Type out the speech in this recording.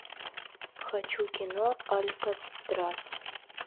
хочу кино алькатрас